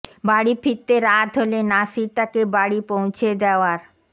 বাড়ি ফিরতে রাত হলে নাসির তাকে বাড়ি পৌঁছে দেওয়ার